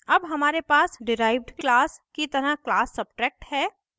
अब हमारे पास डिराइव्ड class की तरह class subtract है